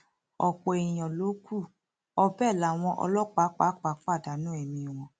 ọpọ èèyàn ló kù ọ bẹẹ làwọn ọlọpàá pàápàá pàdánù ẹmí wọn